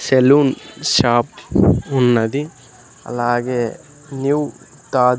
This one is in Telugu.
సెలూన్ షాప్ ఉన్నది అలాగే న్యూ తాద్--